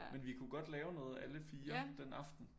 Men vi kunne godt lave noget alle 4 den aften